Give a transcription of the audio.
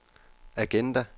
agenda